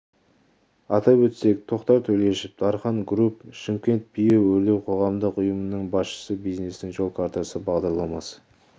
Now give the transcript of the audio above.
атап өтсек тоқтар төлешов дархан груп шымкентпиво үдеу өрлеу қоғамдық ұйымының басшысы бизнестің жол картасы бағдарламасы